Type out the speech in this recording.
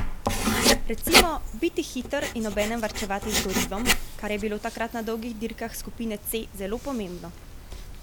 Recimo, biti hiter in obenem varčevati z gorivom, kar je bilo takrat na dolgih dirkah skupine C zelo pomembno.